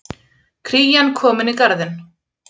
Krían komin í Garðinn